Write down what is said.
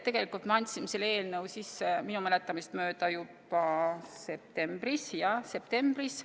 Tegelikult me andsime selle eelnõu sisse minu mäletamist mööda juba septembris – jah, septembris.